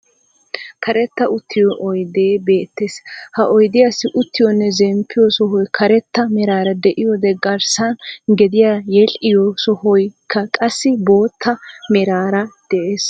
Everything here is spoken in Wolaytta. Karetta uttiyo oydde beettees. Ha oydiyaassi uttiyonne zemppiyo sohoy Karetta meraara de'oyode garssan gediyan yedhdhiyo sohoykka qassi boottaa meraara de"ees.